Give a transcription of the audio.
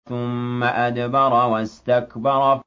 ثُمَّ أَدْبَرَ وَاسْتَكْبَرَ